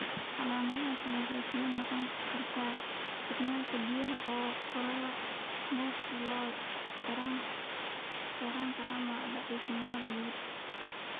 Calaamadaha kale waxaa ka mid noqon kara isticmaalka biyaha oo kordha, neefta oo yaraata, ama daciifnimo guud.